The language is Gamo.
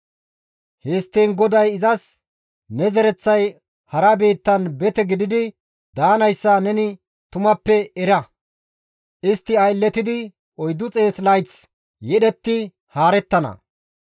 Histtiin GODAY izas, «Ne zereththay hara biittan bete gidi daanayssa neni tumappe era; istti aylletidi 400 layth yedhetti haarettana.